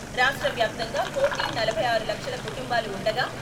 రాష్ట్ర వ్యాప్తంగా కోటి నలభై ఆరు లక్షల కుటుంబాలు ఉండగా..